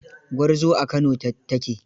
Gwarzo a Kano ta ke.